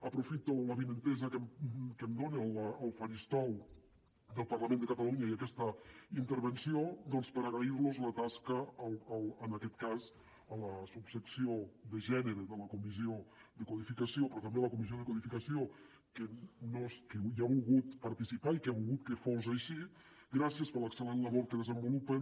aprofito l’avinentesa que em dona el faristol del parlament de catalunya i aquesta intervenció doncs per agrair los la tasca en aquest cas a la subsecció de gènere de la comissió de codificació però també a la comissió de codificació que hi ha volgut participar i que ha volgut que fos així gràcies per l’excel·lent labor que desenvolupen